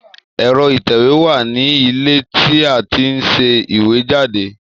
Ẹ̀rọ ìtẹ̀wé wà ní ilé tí a ti ń ṣe ìwé jáde